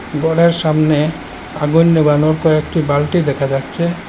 গরের সামনে আগুন নেবানোর কয়েকটি বালটি দেখা যাচ্ছে।